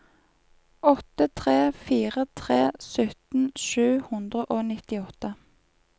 åtte tre fire tre sytten sju hundre og nittiåtte